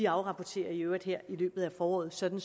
afrapporterer i øvrigt her i løbet af foråret sådan